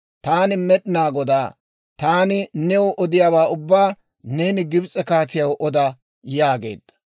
«Taani Med'inaa Godaa; Taani new odiyaawaa ubbaa neeni Gibs'e kaatiyaw oda» yaageedda.